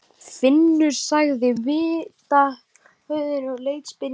Finnur sagði vitavörðurinn og leit spyrjandi á Jón.